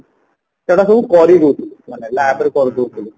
ସେଗୁଡା ସବୁ କରି ଦଉଥିଲୁ ମାନେ LAB ରେ କରିଦଉଥିଲୁ